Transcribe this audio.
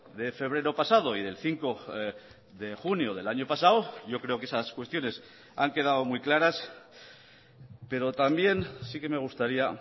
de febrero pasado y del cinco de junio del año pasado yo creo que esas cuestiones han quedado muy claras pero también sí que me gustaría